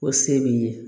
O se b'i ye